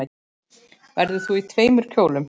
Verður þú í tveimur kjólum?